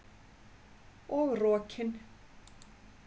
Og rokin.